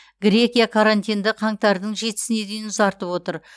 грекия карантинді қаңтардың жетісіне дейін ұзартып отыр